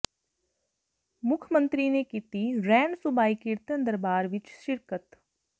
ਮੁੱਖ ਮੰਤਰੀ ਨੇ ਕੀਤੀ ਰੈਣ ਸੁਬਾਈ ਕੀਰਤਨ ਦਰਬਾਰ ਵਿਚ ਸ਼ਿਰਕਤ